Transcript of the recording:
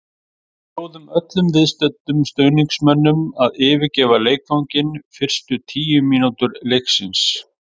Við bjóðum öllum viðstöddum stuðningsmönnum að yfirgefa leikvanginn fyrstu tíu mínútur leiksins.